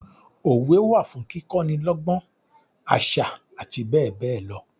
Òwe wa fún kíkọ ni lọ́gbọ́n, àṣà àti bẹ́ẹ̀ bẹẹ lọ.